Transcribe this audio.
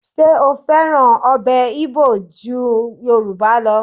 Ṣé ó fẹ́ràn ọbẹ̀ Igbo ju Yorùbá lọ?